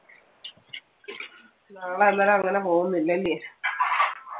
നാളെ അന്നേരം അങ്ങനെ പോകുന്നില്ലല്യേ.